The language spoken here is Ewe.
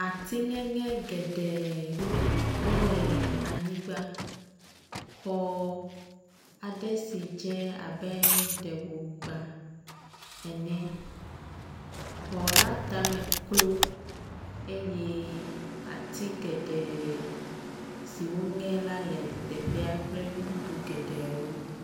Ati ŋeŋe geɖe wole anyigba xɔ aɖe si dze abe ɖe wògbã ene. Xɔ la tame klo eye ati geɖe siwo ŋe la le teƒea kple nu bubu geɖewo.